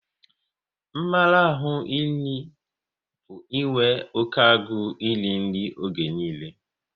Mmarahu nri bụ inwe oké agụ n'iri nri oge niile